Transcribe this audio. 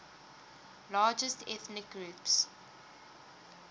largest ethnic groups